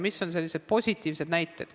Mis on sellised positiivsed näited?